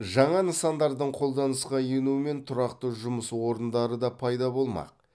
жаңа нысандардың қолданысқа енуімен тұрақты жұмыс орындары да пайда болмақ